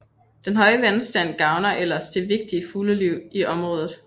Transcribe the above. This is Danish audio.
Den høje vandstand gavner ellers det vigtige fugleliv i området